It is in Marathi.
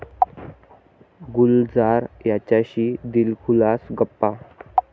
गुलजार यांच्याशी दिलखुलास गप्पा